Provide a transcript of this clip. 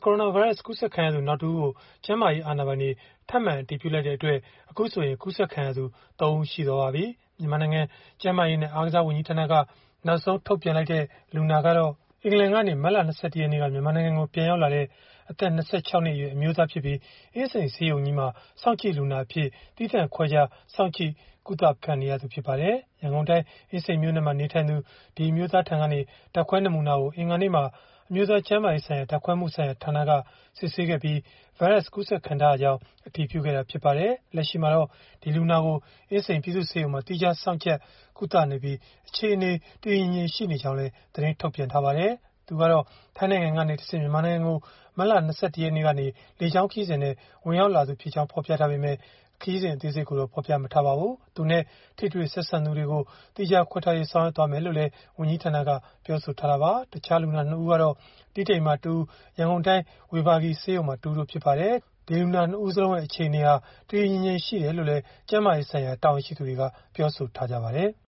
ကိုရိုနာဗိုင်းရပ်စ် ကူးစက်ခံလူနာ တဦး ထပ်မံ အတည်ပြု တွေ့ရှိကြောင်း ဗုဒ္ဓဟူးနေ့ မနက် ၁ နာရီ အချိန်မှာ မြန်မာနိုင်ငံ ကျန်းမာရေးနဲ့ အားကစား ဝန်ကြီးဌာနက ထုတ်ပြန်ကြေညာလိုက်တာကြောင့် COVID -19 အတည်ပြု လူနာ ၃ ဦးရှိသွားပြီ ဖြစ်ပါတယ်။ အခုနောက်ဆုံး အတည်ပြု လူနာကတော့ အင်္ဂလန်ကနေ မတ်လ ၂၁ ရက်နေ့က မြန်မာနိုင်ငံကို ပြန်ရောက်လာတဲ့ အသက် ၂၆ နှစ် အရွယ် အမျိုးသား ဖြစ်ပြီး အင်းစိန်ပြည်သူ့ ဆေးရုံကြီးမှာ စောင့်ကြည့်လူနာ အဖြစ် သီးသန့်ခွဲခြား စောင့်ကြပ် ကုသပေးနေရသူ ဖြစ်ပါတယ်။ ရန်ကုန်တိုင်း အင်းစိန်မြို့နယ်မှာ နေထိုင်သူ အဲဒီ အမျိုးသားထံက ဓာတ်ခွဲ နမူနာကို အင်္ဂါနေ့မှာ အမျိုးသား ကျန်းမာရေးဆိုင်ရာ ဓာတ်ခွဲမှုဆိုင်ရာ ဌာန က စစ်ဆေးခဲ့ပြီး ကိုရိုနာဗိုင်းရပ်စ် ကူးစက်ခံထားရကြောင်း အတည်ပြုခဲ့တာ ဖြစ်ပါတယ်။ လက်ရှိမှာတော့ အဲဒီ လူနာကို အင်းစိန် ပြည်သူ့ဆေးရုံမှာ သီးခြားထား စောင့်ကြပ် ကုသနေပြီး အခြေအနေ တည်တည်ငြိမ်ငြိမ် ရှိနေတယ်လို့လည်း သတင်းထုတ်ထားပါတယ်။ သူကတော့ ထိုင်းနိုင်ငံကနေ တဆင့် မြန်မာနိုင်ငံကို မတ်လ ၂၁ ရက်နေ့က လေကြောင်းခရီးစဉ်နဲ့ ဝင်ရောက်လာသူ ဖြစ်ကြောင်း ဖော်ပြထားပေမယ့် လေကြောင်း ခရီးစဉ် အသေးစိတ်ကိုတော့ ဖော်ပြမထားပါဘူး။ သူနဲ့ ထိတွေ့ ဆက်စပ်သူတွေကို သီးခြားခွဲထားရေး ဆောင်ရွက်သွားမယ်လို့တော့ ဝန်ကြီးဌာနက ပြောဆိုထားပါတယ်။ တခြား လူနာ ၂ ဦးကတော့ တီးတိန်မှာ တဦး ရန်ကုန်တိုင်း ဝေဘာဂီဆေးရုံမှာ တဦးတို့ ဖြစ်ပါတယ်။ လူနာ ၂ ဦးလုံး အခြေအနေ တည်တည်ငြိမ်ငြိမ် ရှိတယ်လို့လည်း ကျန်းမာရေး ဆိုင်ရာ တာဝန်ရှိသူတွေက ပြောဆိုထားပါတယ်။